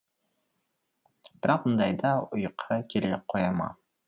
бірақ мұндайда ұйқы келе қоя ма